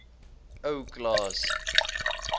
ou klaas